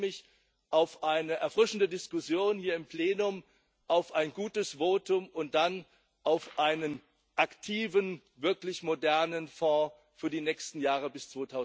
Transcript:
Ich freue mich auf eine erfrischende Diskussion hier im Plenum, auf ein gutes Votum und dann auf einen aktiven, wirklich modernen Fonds für die nächsten Jahre bis